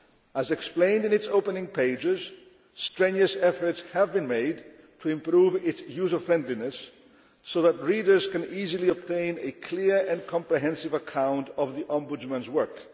As explained in its opening pages, strenuous efforts have been made to improve its user friendliness so that readers can easily obtain a clear and comprehensive account of the Ombudsman's work.